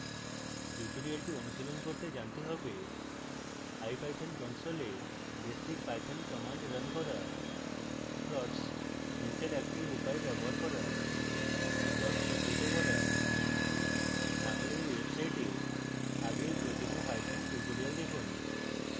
tutorial অনুশীলন করতে জানতে হবে: